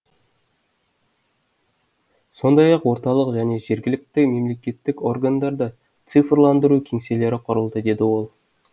сондай ақ орталық және жергілікті мемлекеттік органдарда цифрландыру кеңселері құрылды деді ол